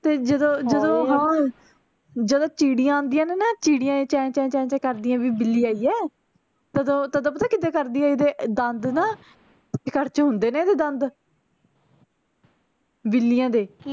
ਫੇਰ ਜਦੋਂ ਜਦੋਂ ਹਾਂ ਜਦੋਂ ਚਿੜੀਆਂ ਆਂਦੀਆਂ ਨੇ ਨਾ ਚਿੜੀਆਂ ਚੇਂ ਚੇਂ ਚੇਂ ਚੇਂ ਕਰਦਿਆਂ ਵੀ ਬਿੱਲੀ ਆਈ ਆ ਤਦੋਂ ਤਦੋਂ ਪਤਾ ਕਿੱਦਾਂ ਕਰਦੀ ਐ ਇਹਦੇ ਦੰਦ ਨਾ ਕਰਚੂ ਹੁੰਦੇ ਨੇ ਇਹਦੇ ਦੰਦ ਬਿੱਲੀਆਂ ਦੇ